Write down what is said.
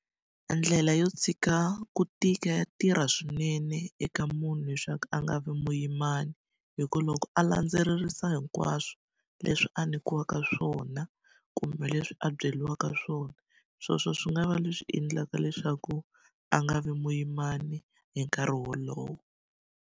Ndlela yo tshika ku tika ya tirha swinene eka munhu leswaku a nga vi muyimani. Hi ku loko a landzelerisa hinkwaswo leswi a nyikiwaka swona, kumbe leswi a byeriweka swona, sweswo swi nga va leswi endlaka leswaku a nga vi muyimani hi nkarhi wolowo.